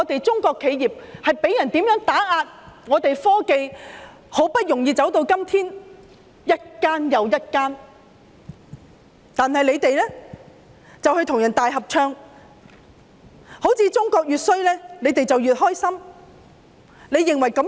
中國企業被人打壓，我們的科技發展很不容易才走到今天，如今卻一間又一間面對打壓，而他們卻與外人大合唱，好像中國越差，他們便越高興。